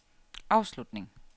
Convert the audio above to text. afslutning